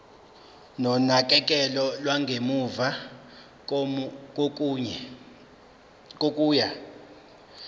nonakekelo lwangemuva kokuya